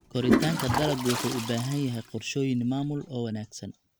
Koritaanka dalaggu wuxuu u baahan yahay qorshooyin maamul oo wanaagsan.